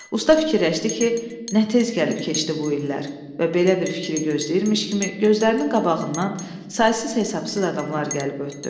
Usta fikirləşdi ki, nə tez gəlib keçdi bu illər və belə bir fikri gözləyirmiş kimi gözlərinin qabağından saysız-hesabsız adamlar gəlib ötdü.